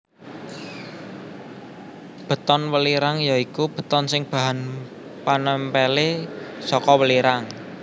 Beton welirang ya iku beton sing bahan panèmpèlé saka welirang